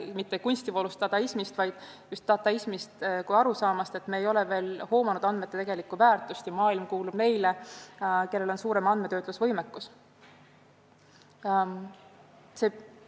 Mitte kunstivoolust dadaismist, vaid just dataismist kui teooriast, et me ei ole veel hoomanud andmete tegelikku väärtust ja maailm kuulub neile, kellel on suurem andmetöötlusvõimekus?